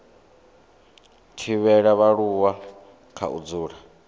thivhela vhaaluwa kha u dzula